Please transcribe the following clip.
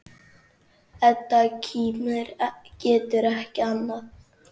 Edda kímir, getur ekki annað.